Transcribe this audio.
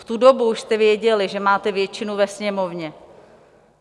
V tu dobu už jste věděli, že máte většinu ve Sněmovně.